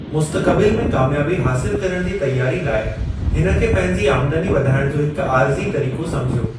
मुस्तक़बिलु में कामयाबी हासिलु करणु जी तैयारी लाइ हिन खे पंहिंजी आमदनी वधाइण जो हिकु आरिज़ी तरीक़ो समुझियो।